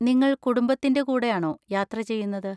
നിങ്ങൾ കുടുംബത്തിൻ്റെ കൂടെയാണോ യാത്ര ചെയ്യുന്നത്?